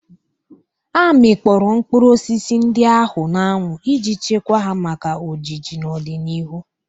Amikpọro mkpụrụ osisi ndị ahụ n'anwụ iji chekwaa ha maka ojiji n'ọdịnihu.